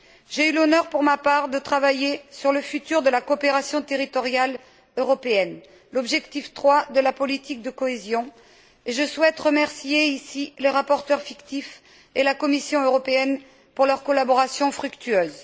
J'ai eu l'honneur, pour ma part, de travailler sur le futur de la coopération territoriale européenne l'objectif III de la politique de cohésion et je souhaite remercier ici le rapporteur fictif et la Commission européenne pour leur collaboration fructueuse.